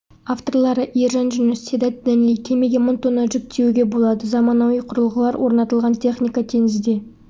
авторлары ержан жүніс седат денли кемеге мың тонна жүк тиеуге болады заманауи құрылғылар орнатылған техника теңізде